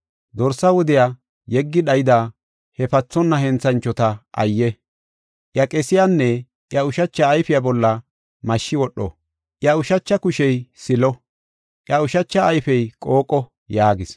Dorsa wudiya yeggi dhayida he pathonna henthanchota ayye! Iya qesiyanne iya ushacha ayfiya bolla mashshi wodho. Iya ushacha kushey silo; iya ushacha ayfey qooqo” yaagis.